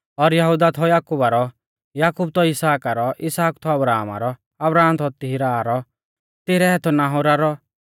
और यहुदाह थौ याकुबा रौ याकूब थौ इसहाका रौ इसहाक थौ अब्राहमा रौ अब्राहम थौ तिरहा रौ तिरह थौ नाहोरा रौ